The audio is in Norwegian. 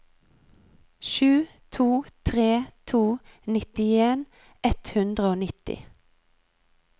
sju to tre to nittien ett hundre og nitti